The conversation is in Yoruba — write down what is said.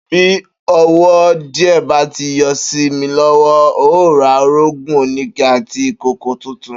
Bí owó díè̩ bá ti yo̩ sí mi ló̩wó̩, n óò ra orógùn oníke àti ìkòkò tuntun